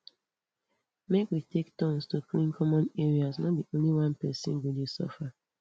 make we take turns to clean common areas no be only one pesin go dey suffer